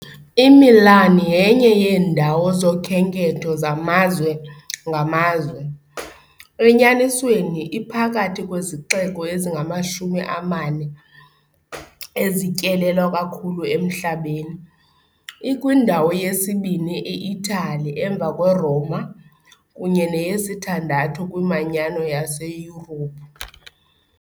IMilan yenye yeendawo zokhenketho zamazwe ngamazwe, enyanisweni iphakathi kwezixeko ezingamashumi amane ezityelelwa kakhulu emhlabeni, ikwindawo yesibini e- Itali emva kweRoma kunye neyesithandathu kwiManyano yaseYurophu .